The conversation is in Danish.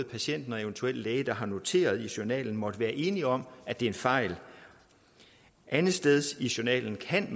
patienten og eventuelt den læge der har noteret i journalen måtte være enige om at det er en fejl andetsteds i journalen kan